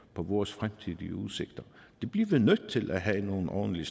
på vores fremtidige udsigter det bliver vi nødt til at have nogle ordentlige